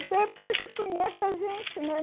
Isso é porque ele já conhece a gente, né?